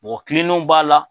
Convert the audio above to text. Mɔgɔ kileniw b'a la,